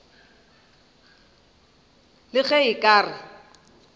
le ge a ka re